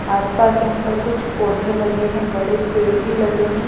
आसपास यहां पर कुछ पौधे लगे हैं बड़े पेड़ भी लगे हैं।